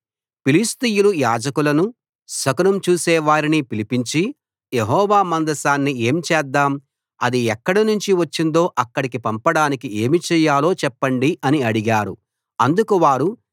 ఫిలిష్తీయులు యాజకులనూ శకునం చూసేవారిని పిలిపించి యెహోవా మందసాన్ని ఏం చేద్దాం అది ఎక్కడి నుంచి వచ్చిందో అక్కడకి పంపడానికి ఏమి చేయాలో చెప్పండి అని అడిగారు అందుకు వారు